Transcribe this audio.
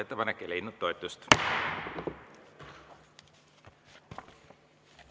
Ettepanek ei leidnud toetust.